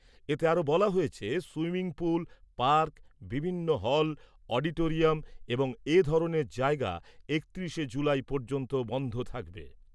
এতে আরও বলা হয়েছে সুইমিং পুল, পার্ক, বিভিন্ন হল, অডিটোরিয়াম এবং এ ধরনের জায়গা একত্রিশে জুলাই পর্যন্ত বন্ধ থাকবে।